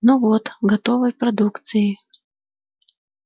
ну вот готовой продукцией